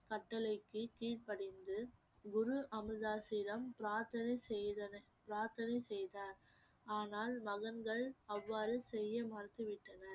கட்டளைக்கு கீழ்படிந்து குரு அமிர்தாஸ்யிடம் பிரார்த்தனை செய்தன~ பிரார்த்தனை செய்தார் ஆனால் மகன்கள் அவ்வாறு செய்ய மறுத்து விட்டனர்